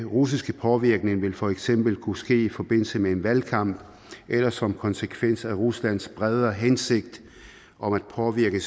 russisk påvirkning vil for eksempel kunne ske i forbindelse med en valgkamp eller som konsekvens af ruslands bredere hensigt om at påvirke